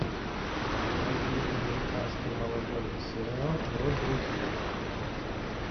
найди американский молодежный сериал про друзей